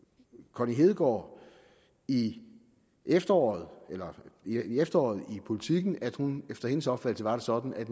connie hedegaard i efteråret i efteråret i politiken at efter hendes opfattelse var det sådan at